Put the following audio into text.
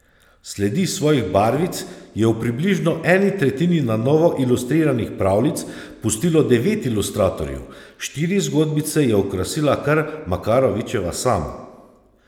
Sledi svojih barvic je v približno eni tretjini na novo ilustriranih pravljic pustilo devet ilustratorjev, štiri zgodbice je okrasila kar Makarovičeva sama.